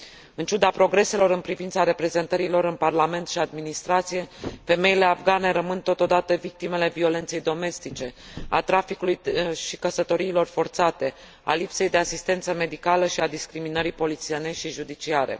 În ciuda progreselor în privința reprezentării lor în Parlament și administrație, femeile afgane rămân, totodată, victimele violenței domestice, a traficului și căsătoriilor forțate, a lipsei de asistență medicală și a discriminării polițienești și judiciare.